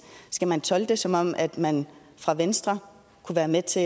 skal man tolke det som at man fra venstre kunne være med til